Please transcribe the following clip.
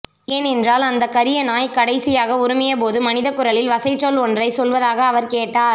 ஏனென்றால் அந்தக் கரிய நாய் கடைசியாக உறுமியபோது மனிதக்குரலில் வசைச்சொல் ஒன்றைச் சொல்வதாக அவர் கேட்டார்